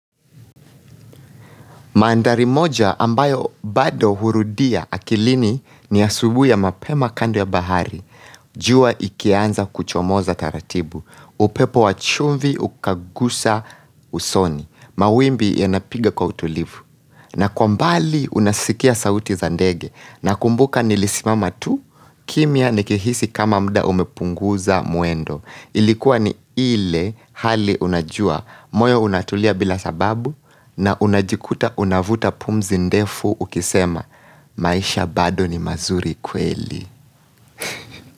Mandhari moja ambayo bado hurudia akilini ni asubuhi ya mapema kando ya bahari. Jua ikianza kuchomoza taratibu. Upepo wa chumvi ukagusa usoni. Mawimbi yanapiga kwa utulivu. Na kwa mbali unasikia sauti za ndege. Nakumbuka nilisimama tu, kimya nikihisi kama muda umepunguza mwendo. Ilikuwa ni ile hali unajua moyo unatulia bila sababu na unajikuta unavuta pumzi ndefu ukisema maisha bado ni mazuri kweli.